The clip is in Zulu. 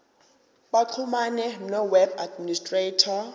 baxhumane noweb administrator